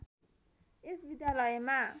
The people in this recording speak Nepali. यस विद्यालयमा